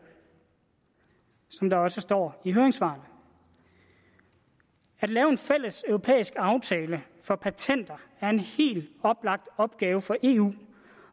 som der også står i høringssvarene at lave en fælles europæisk aftale for patenter er en helt oplagt opgave for eu